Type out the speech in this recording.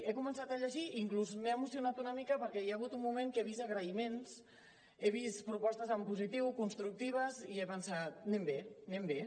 he començat a llegir i inclús m’he emocionat una mica perquè hi ha hagut un moment que he vist agraïments he vist propostes en positiu constructives i he pensat anem bé anem bé